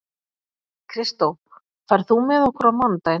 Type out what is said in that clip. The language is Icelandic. Kristó, ferð þú með okkur á mánudaginn?